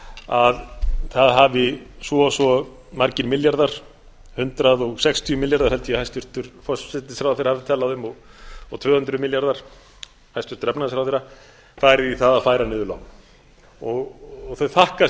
að það hafi svo og svo margir milljarðar hundrað sextíu milljarðar held ég að hæstvirtur forsætisráðherra hafi talað um og tvö hundruð hæstvirtur efnahagsráðherra færu í það að færa niður lán þau þakka